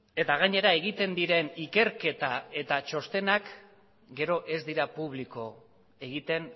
eta gainera egiten diren ikerketa eta txostenak gero ez dira publiko egiten